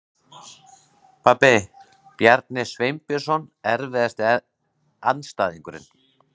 Pabbi, Bjarni Sveinbjörnsson Erfiðasti andstæðingur?